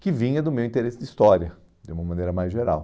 que vinha do meu interesse de história, de uma maneira mais geral.